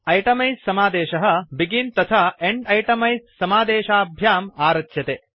itemise समादेशः begin तथा end itemise समादेशाभ्यां आरच्यते